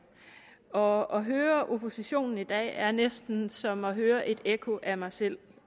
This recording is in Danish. og at høre oppositionen i dag er næsten som at høre et ekko af mig selv